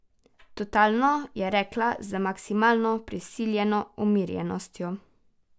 Totalno, je rekla z maksimalno, prisiljeno umirjenostjo.